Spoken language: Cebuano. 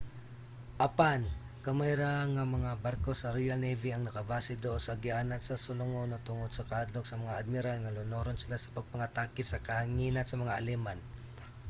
apan gamay ra nga mga barko sa royal navy ang nakabase duol sa agianan sa sulungonon tungod sa kahadlok sa mga admiral nga lunuron sila sa pagpangatake sa kahanginan sa mga aleman